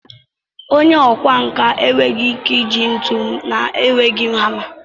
Onye ọkwá nkà enweghị ike iji ntu na-enweghị hama